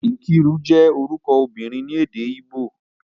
Nkiru je oruko obinrin ni ede Igbo.